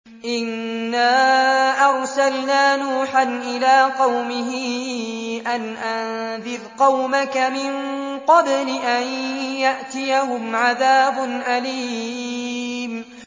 إِنَّا أَرْسَلْنَا نُوحًا إِلَىٰ قَوْمِهِ أَنْ أَنذِرْ قَوْمَكَ مِن قَبْلِ أَن يَأْتِيَهُمْ عَذَابٌ أَلِيمٌ